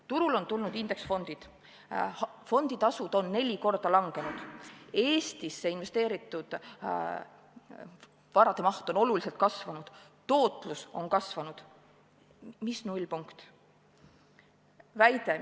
Turule on tulnud indeksfondid, fonditasud on 4 korda langenud, Eestisse investeeritud varade maht on oluliselt kasvanud, tootlus on kasvanud – mis nullpunkt?